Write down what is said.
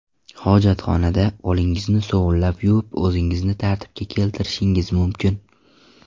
Hojatxonada qo‘lingizni sovunlab yuvib, o‘zingizni tartibga keltirishingiz mumkin.